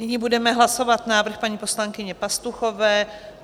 Nyní budeme hlasovat návrh paní poslankyně Pastuchové.